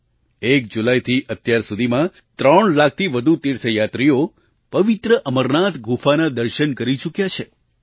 1 જુલાઈથી અત્યાર સુધીમાં ત્રણ લાખથી વધુ તીર્થયાત્રીઓ પવિત્ર અમરનાથ ગુફાના દર્શન કરી ચૂક્યા છે